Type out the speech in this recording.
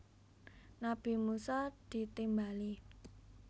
Nabi Musa ditimbali